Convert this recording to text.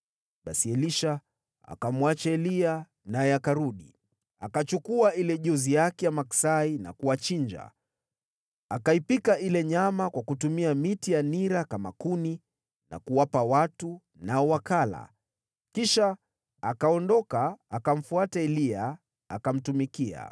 Basi Elisha akamwacha Eliya, naye akarudi. Akachukua ile jozi yake ya maksai na kuwachinja. Akaipika ile nyama kwa kutumia miti ya nira kama kuni na kuwapa watu, nao wakala. Kisha akaondoka, akamfuata Eliya, akamtumikia.